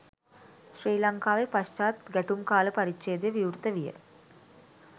ශ්‍රී ලංකාවේ පශ්චාත් ගැටුම් කාල පරිච්ජේදය විවෘත විය